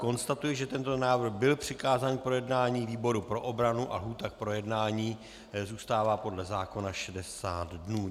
Konstatuji, že tento návrh byl přikázán k projednání výboru pro obranu a lhůta k projednání zůstává podle zákona 60 dnů.